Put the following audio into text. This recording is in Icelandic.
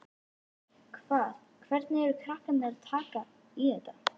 Hvað, hvernig eru krakkarnir að taka í þetta?